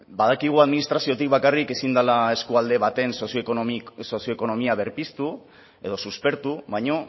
badakigu administraziotik bakarrik ezin dela eskualde baten sozioekonomia berpiztu edo suspertu baina